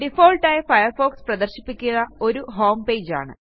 default ആയി Firefox പ്രദർശിപ്പിക്കുക ഒരു ഹോംപേജ് ആണ്